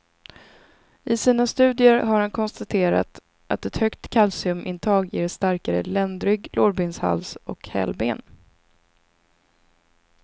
I sina studier har han konstaterat att ett högt kalciumintag ger starkare ländrygg, lårbenshals och hälben.